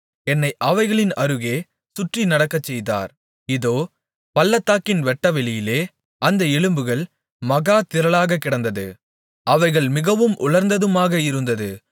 என்னை அவைகளின் அருகே சுற்றி நடக்கச்செய்தார் இதோ பள்ளத்தாக்கின் வெட்டவெளியிலே அந்த எலும்புகள் மகா திரளாகக் கிடந்தது அவைகள் மிகவும் உலர்ந்ததுமாக இருந்தது